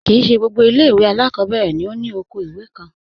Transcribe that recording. Kí í ṣẹ gbogbo ilẹ̀-iwe alákọbẹ̀rẹ̀ ni òkò ilẹ̀-iwè kàn.